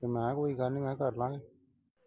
ਮੈਂ ਕਿਹਾ ਕੋਈ ਗੱਲ ਨਈਂ ਮੈਂ ਕਿਹਾ ਕਰਲਾਂਗੇ।